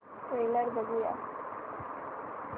trailer बघूया